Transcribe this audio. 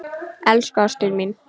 Elsku ástin mín.